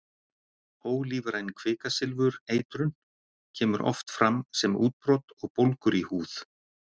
Ólífræn kvikasilfurseitrun kemur oft fram sem útbrot og bólgur í húð.